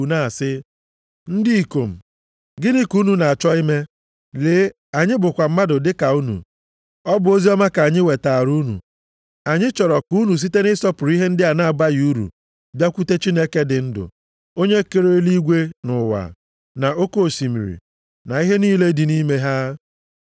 na-asị, “Ndị ikom, gịnị ka unu na-achọ ime? Lee, anyị bụkwa mmadụ dị ka unu. Ọ bụ oziọma ka anyị wetaara unu. Anyị chọrọ ka unu site nʼịsọpụrụ ihe ndị a na-abaghị uru, bịakwute Chineke dị ndụ. Onye kere eluigwe na ụwa, na oke osimiri na ihe niile dị nʼime ha.